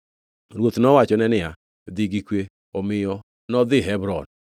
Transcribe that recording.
Ruoth nowachone niya, “Dhi gi kwe.” Omiyo nodhi Hebron.